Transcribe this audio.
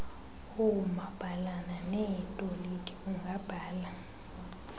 oomabhalana neetoliki ungabhala